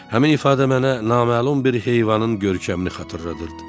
Həmin ifadə mənə naməlum bir heyvanın görkəmini xatırladırdı.